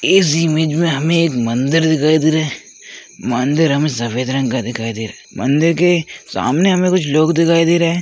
इस इमेज मे हमे एक मंदिर दिखाई दे रहा है मंदिर हमे सफ़ेद रंग का दिखाई दे रहा है मंदिर के सामने हमे कुछ लोग दिखाई दे रहे है।